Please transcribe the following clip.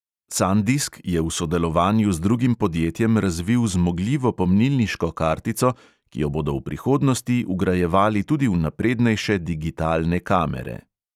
Sandisk je v sodelovanju z drugim podjetjem razvil zmogljivo pomnilniško kartico, ki jo bodo v prihodnosti vgrajevali tudi v naprednejše digitalne kamere.